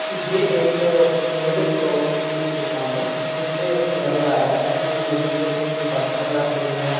जे एक milk shop की दुकान है जिसपे नजर आ रहा है कि मिलक के कुछ बर्तन रखे गए हैं।